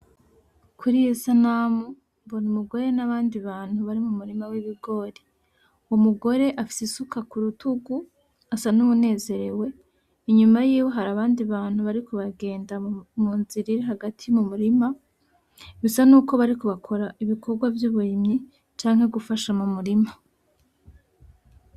Kuriyi sanamu mbona umugore, n'abandi bantu bari mu murima w'ibigori, umugore afise isuka kurutugu asa nuwunezerewe inyuma yiwe hari abandi bantu bariko baragenda mu nzira iri hagati mu murima, bisa nuko bariko bakora ibikogwa vy'uburimyi canke gufasha mu murima.